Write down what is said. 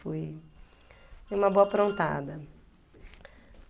Fui fui uma boa aprontada.